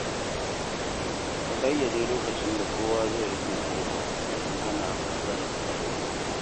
A ƙayyade lokacin da kowa zai rufe ƙofa domin hana matsalar tsaro.